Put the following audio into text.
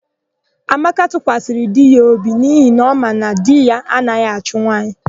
Amaka tụkwasịrị di ya obi n'ihi na ọ ma na di ya anaghị achụ nwaanyị.